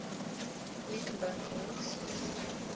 greek loanwords